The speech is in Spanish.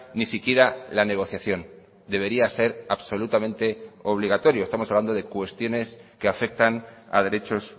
ni siquiera la negociación debería ser absolutamente obligatorio estamos hablando de cuestiones que afectan a derechos